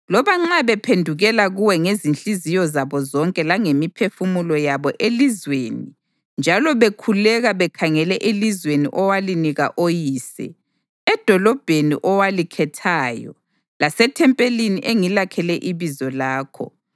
loba nxa bephendukela kuwe ngezinhliziyo zabo zonke langemiphefumulo yabo elizweni njalo bekhuleka bekhangele elizweni owalinika oyise, edolobheni owalikhethayo lasethempelini engilakhele iBizo lakho;